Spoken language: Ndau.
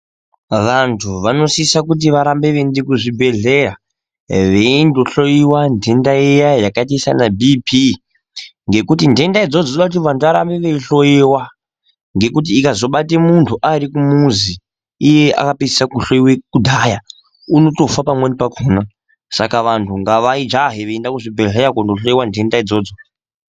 Vantu vanosise kuti varambe veienda kuchibhehlera veindohloyiwa nhenda iya yakaite seana Bp ngekuti nhenda idzozdo dzinode kuti vanhu varambe veihloyiwa ngekuti ikazobate munhu arikumuzi iye akapedzisira kuhloyiwe kudhaya unotofa pamweni pakona saka vanhu ngavajahe veienda kuzvibhehleya kohloyiwa nhende idzodzo.